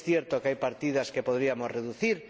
Es cierto que hay partidas que podríamos reducir.